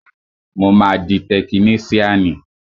Mo máa di tekiníṣíànì